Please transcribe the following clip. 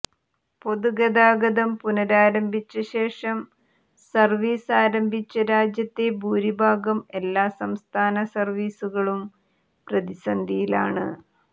പൊതുഗതാഗതം പുനരാരംഭിച്ച ശേഷം സര്വീസ് ആരംഭിച്ച രാജ്യത്തെ ഭൂരിഭാഗം എല്ലാ സംസ്ഥാന സര്വീസുകളും പ്രതിസന്ധിയിലാണ്